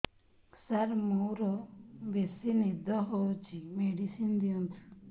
ସାର ମୋରୋ ବେସି ନିଦ ହଉଚି ମେଡିସିନ ଦିଅନ୍ତୁ